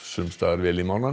vel í